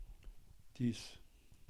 Vtis?